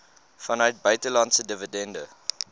vanuit buitelandse dividende